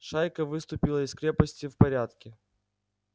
шайка выступила из крепости в порядке